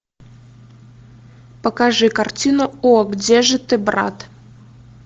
покажи картину о где же ты брат